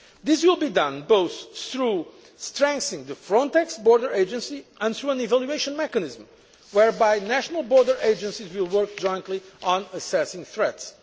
This will be done both through strengthening the Frontex border agency and through an evaluation mechanism whereby national border agencies will work jointly on assessing threats.